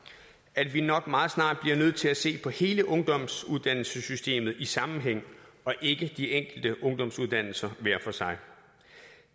at vi nok meget snart bliver nødt til at se på hele ungdomsuddannelsessystemet i sammenhæng og ikke på de enkelte ungdomsuddannelser hver for sig